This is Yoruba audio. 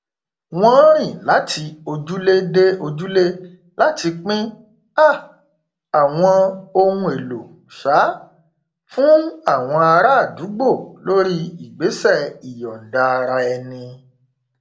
wọn rìn láti ojúlé dé ojúlé láti pín um àwọn ohn èlò um fún àwọn ará àdúgbò lórí ìgbésẹ ìyọndaaraẹni